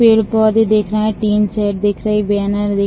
पेड़ पौधे दिख रहे हैं टीन शेड दिख रही बैनर --